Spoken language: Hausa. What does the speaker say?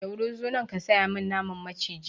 Jauro zo nan ka saya min naman maciji!